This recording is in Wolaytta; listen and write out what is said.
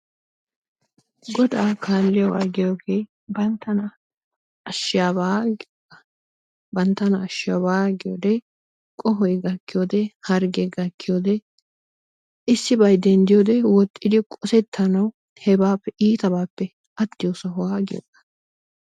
Godaa kaaliyogaa giyoodee banttana ashiyaabaa giyogaa banttana ashshiyabaa giyodee qohoy gakkiyode, hargge gakkiyode issibay denddiyode woxxidi qosettanaawu hebaappe iittabappe attiyo sohuwaa giyoogaa.